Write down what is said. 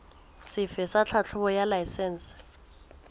sefe sa tlhahlobo ya laesense